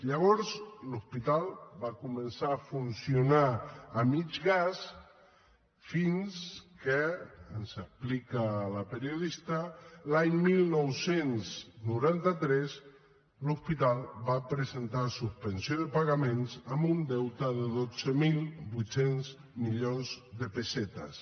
llavors l’hospital va començar a funcionar a mig gas fins que ens explica la periodista l’any dinou noranta tres l’hospital va presentar suspensió de pagaments amb un deute de dotze mil vuit cents milions de pessetes